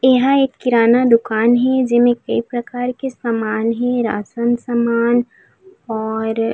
एहा एक किराना दुकान हे जेमे कई प्रकार के सामान हे राशन सामान और--